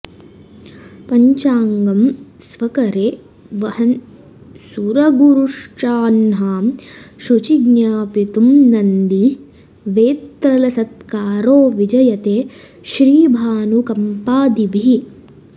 पञ्चाङ्गं स्वकरे वहन् सुरगुरुश्चाह्नां शुचि ज्ञापितुं नन्दी वेत्रलसत्करो विजयते श्रीभानुकम्पादिभिः